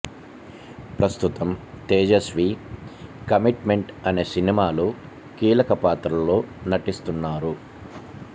ప్రస్తుతం Tejaswi commitment అనే సినిమాలో కీలక పాత్రలో నటిస్తున్నారు